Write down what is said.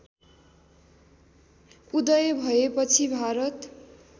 उदय भएपछि भारत